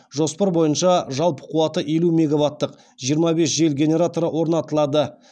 жоспар бойынша жалпы қуаты елу мегаваттық жиырма бес жел генераторы орнатылады